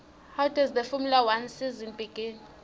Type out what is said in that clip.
when does the formula one season begin